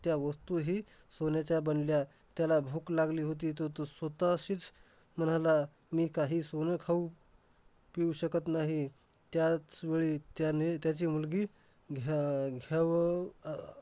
त्या वस्तूही सोन्याच्या बनल्या. त्याला भूक लागली होती, तर तो स्वतःशीच म्हणाला, मी काही सोनं खाऊ पिऊ शकत नाही. त्याचवेळी त्याने त्याची मुलगी अह घ्यावं अह